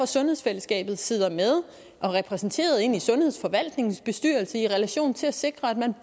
sundhedsfællesskabet sidder med og er repræsenteret ind i sundhedsforvaltningens bestyrelse i relation til at sikre at man